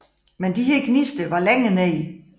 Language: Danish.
Men de her gnister var længere nede